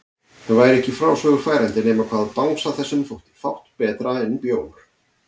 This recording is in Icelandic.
Það væri ekki í frásögur færandi nema hvað bangsa þessum þótti fátt betra en bjór!